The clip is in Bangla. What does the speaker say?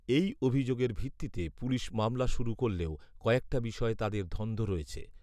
এই অভিযোগের ভিত্তিতে পুলিশ মামলা শুরু করলেও কয়েকটা বিষয়ে তাদের ধন্ধ রয়েছে